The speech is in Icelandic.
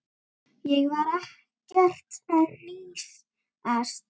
Ég var ekkert að hnýsast.